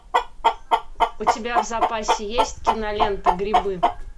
у тебя в запасе есть кинолента грибы